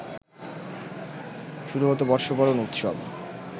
শুরু হত বর্ষবরণ উৎসব